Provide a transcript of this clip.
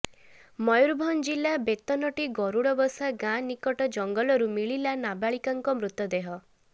ମୟୁରଭଞ୍ଜ ଜିଲ୍ଲା ବେତନଟୀ ଗରୁଡବସା ଗାଁ ନିକଟ ଜଙ୍ଗଲରୁ ମିଳିଲା ନାବାଳିକାଙ୍କ ମୃତଦେହ